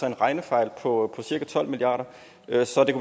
en regnefejl på cirka tolv milliard kr så det